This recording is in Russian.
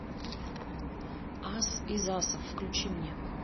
ас из асов включи мне